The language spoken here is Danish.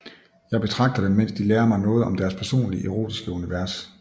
Jeg betragter dem mens de lærer mig noget om hver deres personlige erotiske univers